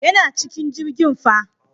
Yana cikin jirgin fa.